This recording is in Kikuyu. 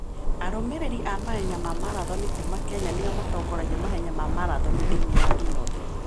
Arũmĩrĩri a mahenya ma marathoni kuuma Kenya nĩo matongoragia mahenya ma marathoni thĩinĩ wa thĩ yothe.